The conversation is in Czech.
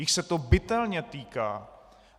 Jich se to bytelně týká.